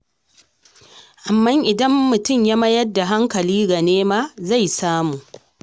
Amma idan mutum ya mayar da hankali ga nema, zai samu.